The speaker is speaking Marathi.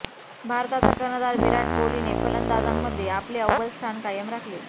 भारताचा कर्णधार विराट कोहलीने फलंदाजांमध्ये आपले अव्वल स्थान कायम राखले आहे